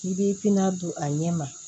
I b'i pina don a ɲɛ ma